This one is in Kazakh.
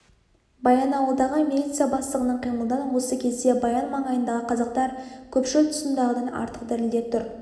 баянауылдағы милиция бастығының қимылынан осы кезде баян маңайындағы қазақтар көпшіл тұсындағыдан артық дірілдеп тұр